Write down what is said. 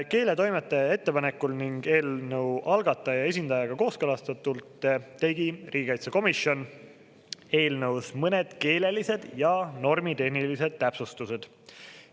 Keeletoimetaja ettepanekul ning eelnõu algataja esindajaga kooskõlastatult tegi riigikaitsekomisjon eelnõus mõned keelelised ja normitehnilised täpsustused.